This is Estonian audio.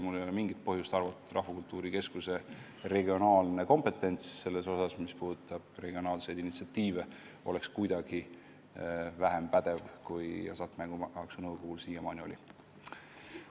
Mul ei ole mingit põhjust arvata, et Rahvakultuuri Keskuse kompetents selles osas, mis puudutab regionaalseid initsiatiive, oleks väiksem, kui Hasartmängumaksu Nõukogul siiamaani oli.